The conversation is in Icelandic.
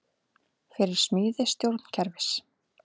Fyrir smíði stjórnkerfis